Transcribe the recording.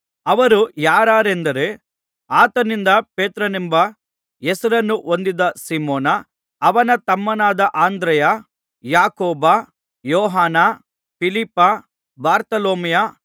ಅವರು ಯಾರಾರೆಂದರೆ ಆತನಿಂದ ಪೇತ್ರನೆಂಬ ಹೆಸರನ್ನು ಹೊಂದಿದ ಸೀಮೋನ ಅವನ ತಮ್ಮನಾದ ಅಂದ್ರೆಯ ಯಾಕೋಬ ಯೋಹಾನ ಫಿಲಿಪ್ಪ ಬಾರ್ತೊಲೊಮಾಯ